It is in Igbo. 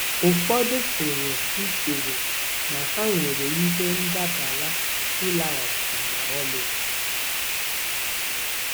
Ụfọdụ pụrụ ichewo na ha nwere ihe ndabara ịlaghachi ma ọlị.